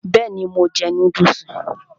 Bẹ́ẹ̀ni, mo jẹ núdùsì